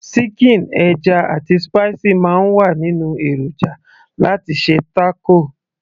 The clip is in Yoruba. síkìn, ẹja, àti spicy máa ń wà nínú èròjà láti ṣe taco